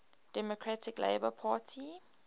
democratic labour party